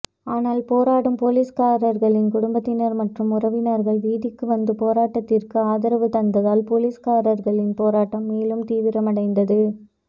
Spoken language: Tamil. ஆனால் போராடும் போலீஸ்காரர்களின் குடும்பத்தினர் மற்றும் உறவினர்கள் வீதிக்கு வந்து போராட்டத்திற்கு ஆதரவு தந்ததால் போலீஸ்காரகளின் போராட்டம் மேலும் தீவிரமடைந்தது